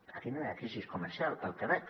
aquí no hi ha crisi comercial pel que veig